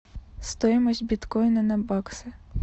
стоимость биткоина на баксы